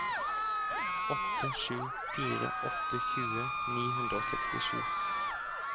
åtte sju fire åtte tjue ni hundre og sekstisju